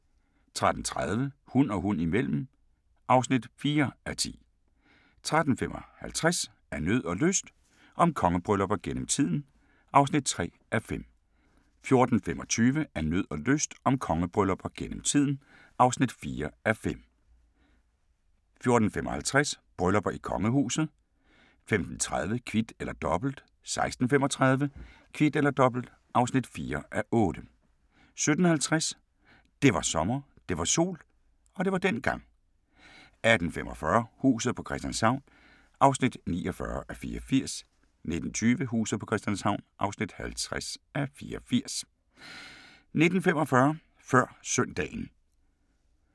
13:30: Hund og hund imellem (4:10) 13:55: Af nød og lyst – om kongebryllupper gennem tiden (3:5) 14:25: Af nød og lyst – om kongebryllupper gennem tiden (4:5) 14:55: Bryllupper i kongehuset 15:30: Kvit eller Dobbelt 16:35: Kvit eller Dobbelt (4:8) 17:50: Det var sommer, det var sol – og det var dengang 18:45: Huset på Christianshavn (49:84) 19:20: Huset på Christianshavn (50:84) 19:45: Før Søndagen